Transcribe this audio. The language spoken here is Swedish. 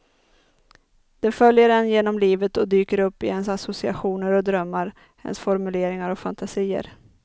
De följer en genom livet och dyker upp i ens associationer och drömmar, ens formuleringar och fantasier.